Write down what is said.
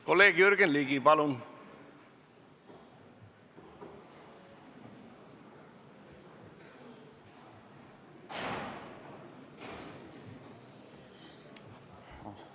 Kolleeg Jürgen Ligi, palun!